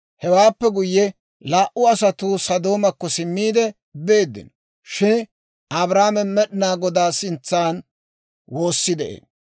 Hewaappe guyye, laa"u asatuu Sodoomakko simmiide beeddino; shin Abrahaame Med'inaa Godaa sintsan woosi de'ee.